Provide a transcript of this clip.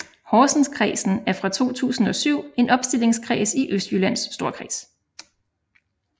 Horsenskredsen er fra 2007 en opstillingskreds i Østjyllands Storkreds